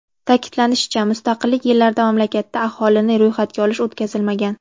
Ta’kidlanishicha, mustaqillik yillarida mamlakatda aholini ro‘yxatga olish o‘tkazilmagan.